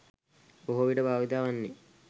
බොහෝවිට භාවිතා වන්නේ